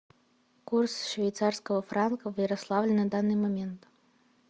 курс швейцарского франка в ярославле на данный момент